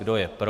Kdo je pro?